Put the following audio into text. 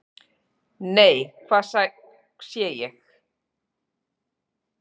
"""NEI, HVAÐ SÉ ÉG!"""